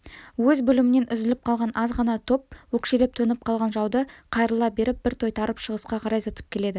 өз бөлімінен үзіліп қалған азғана топ өкшелеп төніп қалған жауды қайырыла беріп бір тойтарып шығысқа қарай зытып келеді